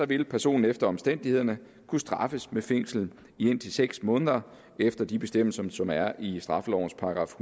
vil personen efter omstændighederne kunne straffes med fængsel i indtil seks måneder efter de bestemmelser som er i straffelovens §